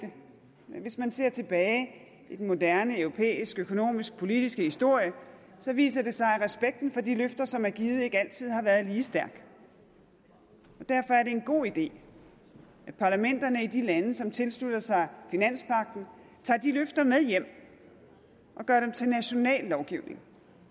hvis man ser tilbage i den moderne europæiske økonomisk politiske historie så viser det sig at respekten for de løfter som er givet ikke altid har været lige stærk derfor er det en god idé at parlamenterne i de lande som tilslutter sig finanspagten tager de løfter med hjem og gør dem til national lovgivning